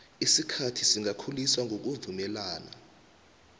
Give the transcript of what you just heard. isikhathi singakhuliswa ngokuvumelana